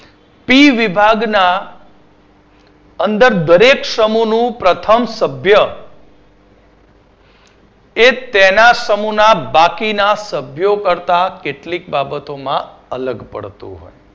બી વિભાગના અંદર દરેક સમુહનું પ્રથમ સભ્ય એ પહેલા સમુહના બાકીના સભ્યો કરતા કેટલીક બાબતોમાં અલગ પડતો હોય છે.